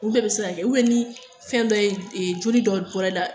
Ulu bɛɛ bɛ se ka kɛ ni fɛn dɔ ye, e joli dɔ bɔra i la